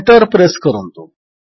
enter press କରନ୍ତୁ